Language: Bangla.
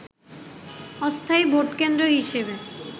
অস্থায়ী ভোট কেন্দ্র হিসেবে